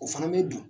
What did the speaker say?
O fana bɛ dun